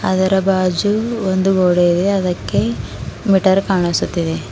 ಅದರ ಬಾಜು ಒಂದ ಬೋರ್ಡ್ ಇದೆ ಅದಕ್ಕೆ ಮೀಟರ್ ಕಾಣಿಸುತ್ತಿದೆ.